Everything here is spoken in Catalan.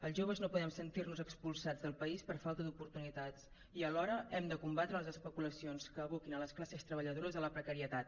els joves no podem sentir nos expulsats del país per falta d’oportunitats i alhora hem de combatre les especulacions que aboquin les classes treballadores a la precarietat